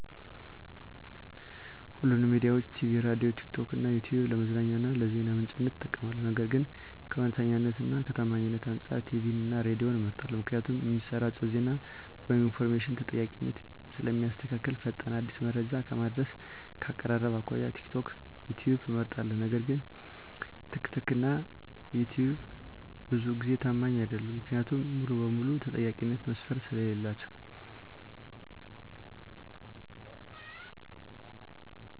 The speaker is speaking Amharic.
ሁሉንም ሚዲያዊች -ቲቪ፤ ሬድዬ፤ ቲክቶክ እና ይትዩብ ለመዝናኛ እና ለዜና ምንጭነት እጠቀማለሁ። ነገር ግን ከእውነተኛነት እና ከታማኝነት አንፃር ቲቪን እና ሬድዬን እመርጣለሁ ምክንያቱም እሚሰራጨው ዜና ወይም ኢንፎርሜሽን ተጠያቂነትን ስለእሚያስከትል። ፈጣን፤ አዲስ መረጃ ከማድረስ፤ ከአቀራረብ አኮያ ቲክቶክ፤ ዩትዩብ እመርጣለሁ። ነገር ግን ትክትክ እና ይትዩብ ብዙውን ጊዜ ታማኝ አይደሉም። ምክንያቱም ሙሉ በሙሉ የተጠያቂነት መስፈርት ስለሌላቸው።